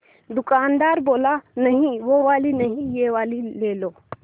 दुकानदार बोला नहीं वो वाली नहीं ये वाली ले लो